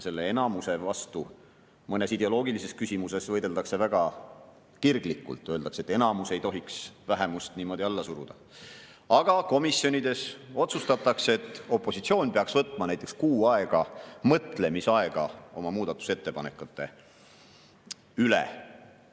Selle enamuse vastu mõnes ideoloogilises küsimuses võideldakse väga kirglikult, öeldakse, et enamus ei tohiks vähemust niimoodi alla suruda, aga komisjonides otsustatakse, et opositsioon peaks võtma näiteks kuu aega mõtlemisaega, et oma muudatusettepanekuid kaaluda.